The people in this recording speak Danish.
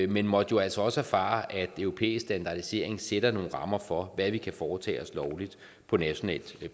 men måtte altså også erfare at europæisk standardisering sætter nogle rammer for hvad vi kan foretage os lovligt på nationalt